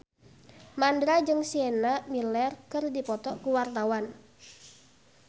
Mandra jeung Sienna Miller keur dipoto ku wartawan